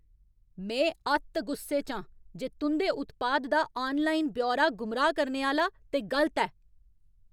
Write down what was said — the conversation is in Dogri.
में अत्त गुस्से च आं जे तुं'दे उत्पाद दा आनलाइन ब्यौरा गुमराह् करने आह्‌ला ते गलत ऐ।